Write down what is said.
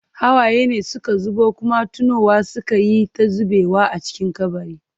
Hawaye ne suka zubo, kuma tunowa suka yi ta zubewa a cikin kabari.